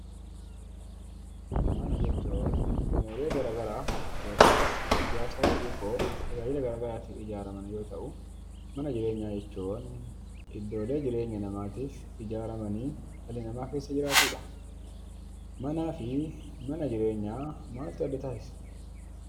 Mana jechuun gamoolee gara garaa yookaanis ijaarsa xixiqqoo tajaajila garagaraatiif ijaaraman yoo ta'u mana jireenyaa jechuun iddoolee jireenya namaatiif ijaaramanii dhalli namaa keessa jiraatudha. Manaa fi mana jireenyaa maaltu adda taasisa?